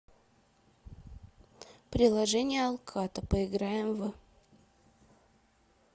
приложение алкато поиграем в